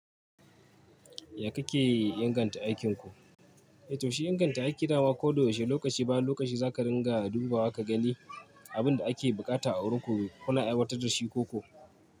Ya kake inganta aikinku? Eh, to shi inganta aiki dama ko da yaushe, lokaci bayan lokaci za ka dinga dubawa ka gani abin da ake buƙata a wurinku, kula aiwatar da shi ko ko.